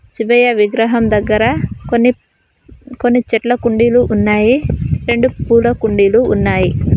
శివయ్య విగ్రహం దగ్గర కొన్ని కొన్ని చెట్ల కుండీలు ఉన్నాయి రెండు పూల కుండీలు ఉన్నాయి.